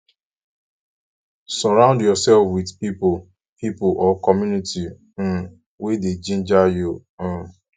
surround yourself with pipo pipo or community um wey dey ginger you um